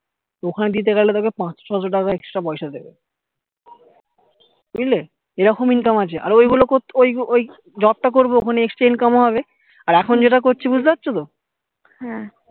ওখানে দিতে গেলে তোকে পাঁচশো ছয়শো টাকা extra পয়সা দিবে বুঝলি এরকম income আছে আরো ওই গুলো ওই ওই job টা করবো ওখানে extra income হবে আর এখন যেটা করছি বুঝতে পারছো তো